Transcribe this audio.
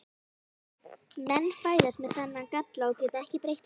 Menn fæðast með þennan galla og geta ekki breytt honum.